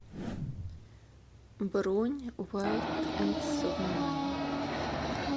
бронь вайт энд смайл